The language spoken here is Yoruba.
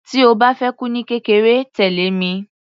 Tí o bá fẹ́ kú ní kékeré, tẹ̀lẹ́ mi.